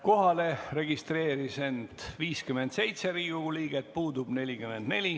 Kohalolijaks registreerus 57 Riigikogu liiget, puudub 44.